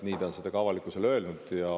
Nii ta on seda ka avalikkusele öelnud.